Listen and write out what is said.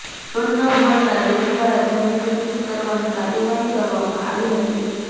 loan ન ભરતા bank દ્વારા જમીન સીઝ કરવાની કાર્યવાહી કરવામાં આવી હતી